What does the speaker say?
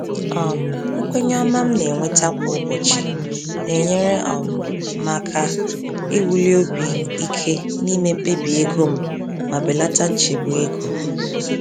um Nkwenye ọma m na-enweta kwa ụbọchị na-enyere um m aka iwuli obi ike n’ime mkpebi ego m ma belata nchegbu ego.